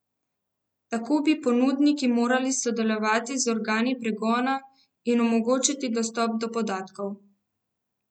Tako bi ponudniki morali sodelovati z organi pregona in omogočiti dostop do podatkov.